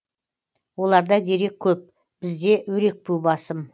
оларда дерек көп бізде өрекпу басым